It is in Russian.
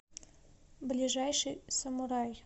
ближайший самурай